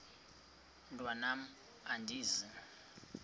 mntwan am andizi